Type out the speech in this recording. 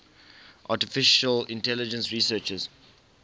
artificial intelligence researchers